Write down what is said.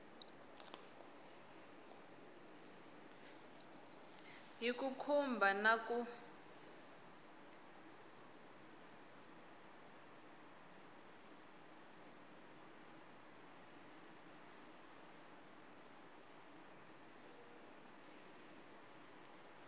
hi ku khumba na ku